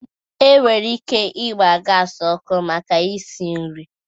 E nwere ike ịgba gas ọkụ maka isi nri